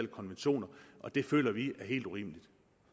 konventioner det føler vi er helt urimeligt